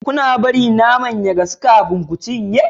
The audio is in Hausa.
Kuna bari naman ya gasu kafin ku ciya?